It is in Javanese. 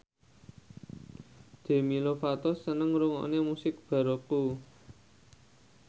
Demi Lovato seneng ngrungokne musik baroque